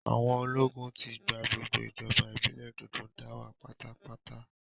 Àwọn ológun ti gba gbogbo ìjọba ìbílẹ̀ Dòdóńdáwà pátápátá